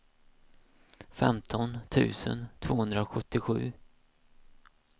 femton tusen tvåhundrasjuttiosju